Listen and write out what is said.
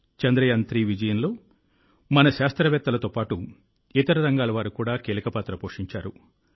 చంద్రయాన్3 విజయంలో మన శాస్త్రవేత్తలతో పాటు ఇతర రంగాల వారు కూడా కీలక పాత్ర పోషించారు